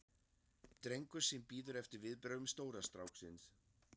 drengur sem bíður eftir viðbrögðum stóra stráksins.